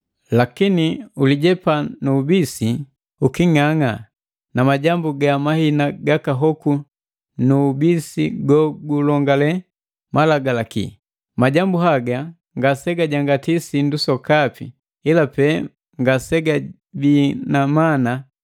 Lakini ulijepa nu ubisi uking'ang'a na majambu ga mahina gaka hoku nu ubisi gogulongale malagalaki. Majambu haga ngase gajangati sindu sokapi ila pe ngasegabii na mana.